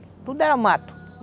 Tudo era mato.